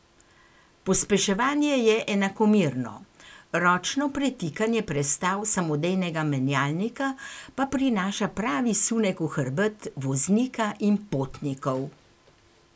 Pospeševanje je enakomerno, ročno pretikanje prestav samodejnega menjalnika pa prinaša pravi sunek v hrbet voznika in potnikov.